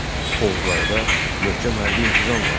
Oğuzlarda möhkəm hərbi intizam vardı.